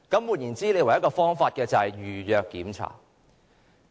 換言之，唯一的方法是預約巡查。